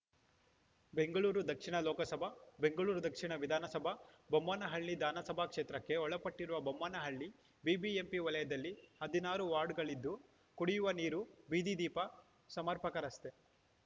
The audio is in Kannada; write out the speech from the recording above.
ಬೆಂಗಳೂರು ದಕ್ಷಿಣ ಲೋಕಸಭಾ ಬೆಂಗಳೂರು ದಕ್ಷಿಣ ವಿಧಾನಸಭಾ ಬೊಮ್ಮನಹಳ್ಳಿ ಧಾನಸಭಾ ಕ್ಷೇತ್ರಕ್ಕೆ ಒಳಪಟ್ಟಿರುವ ಬೊಮ್ಮನಹಳ್ಳಿ ಬಿಬಿಎಂಪಿ ವಲಯದಲ್ಲಿ ಹದಿನಾರು ವಾರ್ಡುಗಳಿದ್ದು ಕುಡಿಯುವ ನೀರು ಬೀದಿ ದೀಪ ಸಮರ್ಪಕ ರಸ್ತೆ